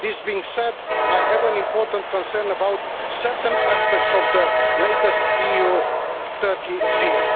This being said, I have an important concern about certain aspects of the latest EU-Turkey deal.